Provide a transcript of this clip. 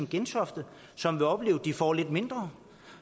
gentofte som vil opleve at de får lidt mindre